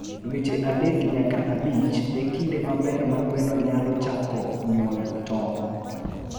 Dweche adek nyaka abich e kinde maber ma gweno nyalo chako nyuol tong'.